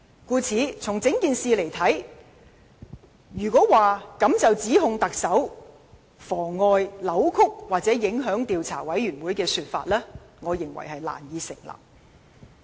故此，就整件事來看，單憑這一點便指特首妨礙、扭曲或影響專責委員會調查的說法，我認為難以成立。